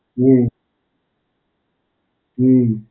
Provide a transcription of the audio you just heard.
હમ્મ, હમ્મ.